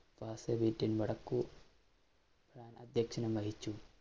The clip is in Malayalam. അധ്യക്ഷനം വഹിച്ചു.